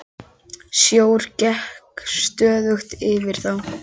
Sjór gekk stöðugt yfir þá.